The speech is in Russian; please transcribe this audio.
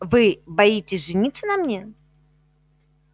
вы боитесь жениться на мне